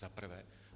Za prvé.